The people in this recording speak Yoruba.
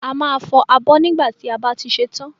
A máa fọ abọ́ nígbà tí a bá ṣe tán.